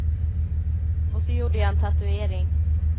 Och så gjorde jag en tatuering.